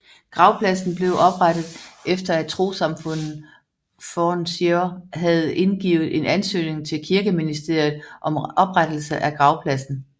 Gravpladsen blev oprettet efter at trossamfundet Forn Siðr havde indgivet en ansøgning til Kirkeministeriet om oprettelse af gravpladsen